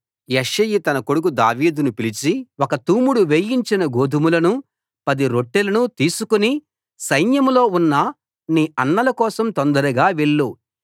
యెష్షయి తన కొడుకు దావీదును పిలిచి ఒక తూముడు వేయించిన గోదుమలనూ పది రొట్టెలనూ తీసుకు సైన్యంలో ఉన్న నీ అన్నల కోసం తొందరగా వెళ్ళు